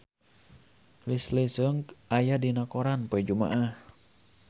Leslie Cheung aya dina koran poe Jumaah